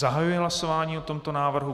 Zahajuji hlasování o tomto návrhu.